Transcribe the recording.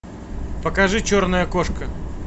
покажи черная кошка